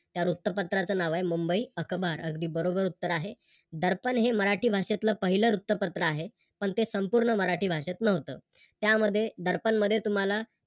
त्या वृत्तपत्रच नाव आहे मुंबई अकबार अगदी बरोबर उत्तर आहे. दर्पण हे मराठी भाषेतल पहिल वृत्तपत्र आहे. पण ते संपूर्ण मराठी भाषेत नव्हत. त्यामध्ये दर्पणमध्ये तुम्हाला